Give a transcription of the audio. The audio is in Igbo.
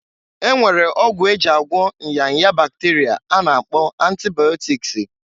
E nwere ọgwụ e ji agwọ nya nya bakterịa a na-akpọ antibaịọtikịsị.